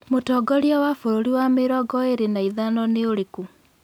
mũtongoria wa bũrũri wa mĩrongo ĩrĩ na ĩthano nĩ ũrĩkũ